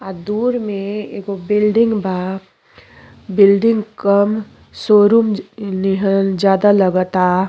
आ दूर मे एगो बिल्डिंग बा। बिल्डिंग कम शोरूम निहर ज्यादा लागता।